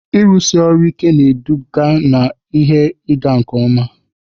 Ịrụsi ọrụ ike na-eduga na ihe ịga nke ọma.